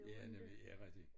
Ja nemlig ja rigtig